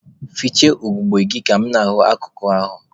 Fichaa ugogbe gị ka mụ na-ahụ akụkụ ahụ!